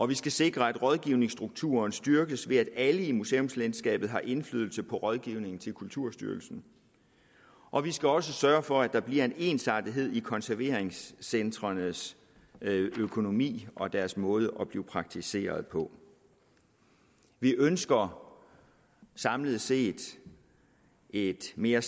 vi skal sikre at rådgivningsstrukturen styrkes ved at alle i museumslandskabet har indflydelse på rådgivning til kulturstyrelsen og vi skal også sørge for at der bliver en ensartethed i konserveringscentrenes økonomi og deres måde at blive praktiseret på vi ønsker samlet set et mere